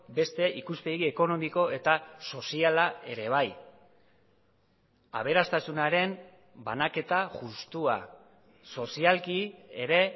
beste ikuspegi ekonomiko eta soziala ere bai aberastasunaren banaketa justua sozialki ere